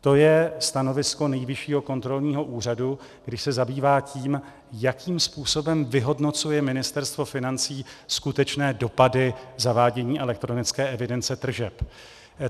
To je stanovisko Nejvyššího kontrolního úřadu, když se zabývá tím, jakým způsobem vyhodnocuje Ministerstvo financí skutečné dopady zavádění elektronické evidence tržeb.